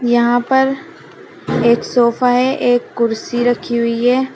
यहां पर एक सोफा है एक कुर्सी रखी हुई है।